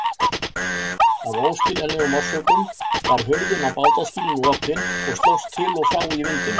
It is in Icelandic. Af óskiljanlegum orsökum var hurðin á bátaskýlinu opin og slóst til og frá í vindinum.